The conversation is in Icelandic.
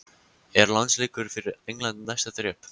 Er landsleikur fyrir England næsta þrep?